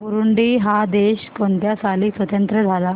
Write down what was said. Burundi हा देश कोणत्या साली स्वातंत्र्य झाला